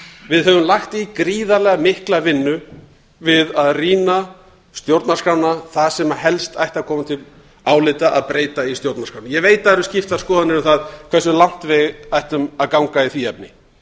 við höfum lagt í gríðarlega mikla vinnu við að rýna stjórnarskrána það sem helst ætti að koma til álita að breyta í stjórnarskránni ég veit það eru skiptar skoðanir um það hversu langt við ættum að ganga í því efni